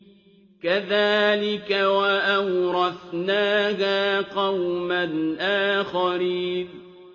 كَذَٰلِكَ ۖ وَأَوْرَثْنَاهَا قَوْمًا آخَرِينَ